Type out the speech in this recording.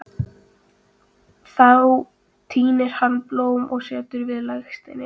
Þá tínir hann blóm og setur við legsteininn.